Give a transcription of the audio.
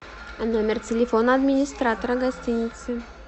номер телефона администратора гостиницы